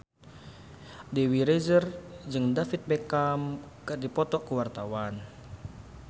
Dewi Rezer jeung David Beckham keur dipoto ku wartawan